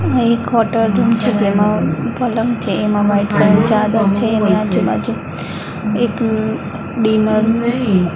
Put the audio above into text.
આ એક hotel room છે જેમાં પલંગ છે એમાં વ્હાઇટ કલરની ચાદર છે એની આજુ બાજુ એક ડિનર --